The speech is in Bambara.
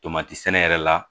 Tomati sɛnɛ yɛrɛ la